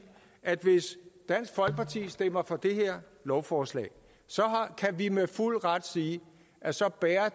at hvis dansk folkeparti stemmer for det her lovforslag så kan vi med fuld ret sige at så bærer